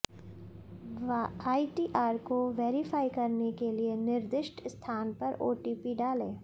ITR को verify करने के लिए निर्दिष्ट स्थान पर ओटीपी डालें